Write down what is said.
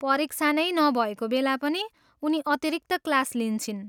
परीक्षा नै नभएको बेला पनि उनी अतिरिक्त क्लास लिन्छिन्।